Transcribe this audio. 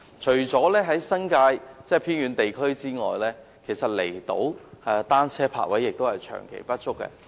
除在新界外，離島的單車泊位亦長期不足。